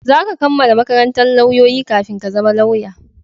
Za ka kammala makarantan lauyoyi kafin ka zama lauya